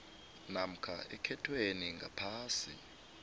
namkha ekhethwe ngaphasi